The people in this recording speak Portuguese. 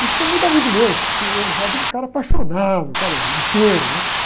E ficou muito amigo meu, porque eu achava ele um cara apaixonado, um cara inteiro, né?